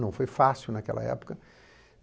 Não foi fácil naquela época.